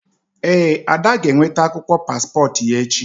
Ee, Ada g'enwete akwụkwọ paspọtụ ya echi